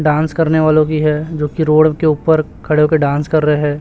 Dance करने वालों की है जो कि रोड के ऊपर खड़े हो कर डांस कर रहे है।